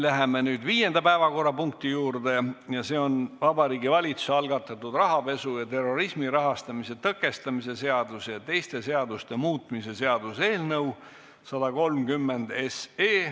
Läheme viienda päevakorrapunkti juurde ja see on Vabariigi Valitsuse algatatud rahapesu ja terrorismi rahastamise tõkestamise seaduse ja teiste seaduste muutmise seaduse eelnõu 130.